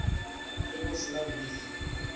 ge go se na wili